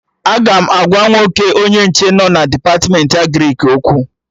Aga m agwa nwoke onye nche nọ na Depatmentị Agrịk okwu